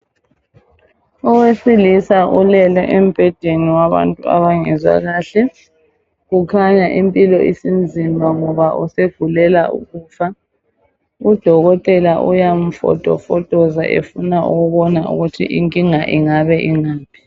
Owesilisa ulele embhedeni owabantu abangezwa kahle ,kukhanya impilo isinzima ngoba usegulela ukufa. Udokotela uyamfotofotoza efuna ukubona ukuthi inkinga ingabe ingaphi.